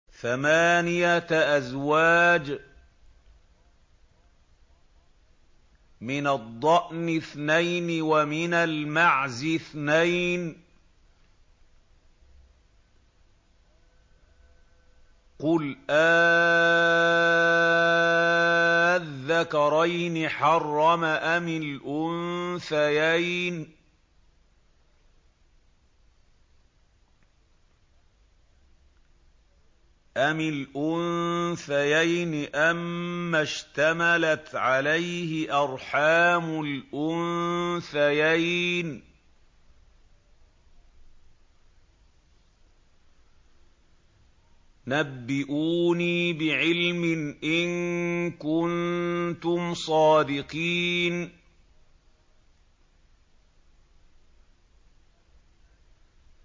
ثَمَانِيَةَ أَزْوَاجٍ ۖ مِّنَ الضَّأْنِ اثْنَيْنِ وَمِنَ الْمَعْزِ اثْنَيْنِ ۗ قُلْ آلذَّكَرَيْنِ حَرَّمَ أَمِ الْأُنثَيَيْنِ أَمَّا اشْتَمَلَتْ عَلَيْهِ أَرْحَامُ الْأُنثَيَيْنِ ۖ نَبِّئُونِي بِعِلْمٍ إِن كُنتُمْ صَادِقِينَ